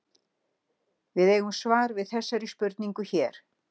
Við eigum svar við þessari spurningu hér.